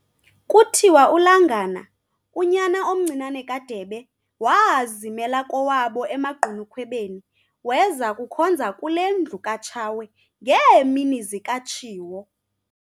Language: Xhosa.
Kuthiwa uLangana, unyana omncinane kaDebe, waazimela kowabo emaGqunukhwebeni, weza kukhonza kule ndlu kaTshawe, ngeemini zikaTshiwo.